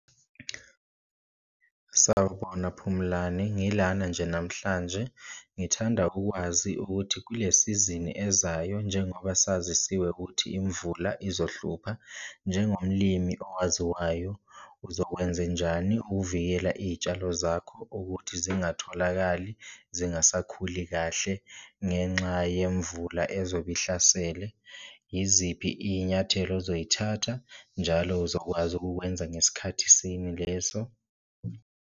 Sawubona Phumlani, ngilana nje namhlanje ngithanda ukwazi ukuthi kule sizini ezayo njengoba sazisiwe ukuthi imvula izohlupha, njengomlimi owaziwayo uzokwenzenjani ukuvikela iyitshalo zakho ukuthi zingatholakali zingasakhuli kahle ngenxa yemvula ezobe ihlasele. Iziphi iy'nyathelo ozoyithatha njalo uzokwazi ukukwenza ngesikhathi sini leso.